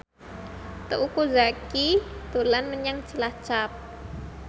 Teuku Zacky dolan menyang Cilacap